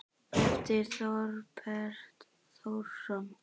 eftir Þorberg Þórsson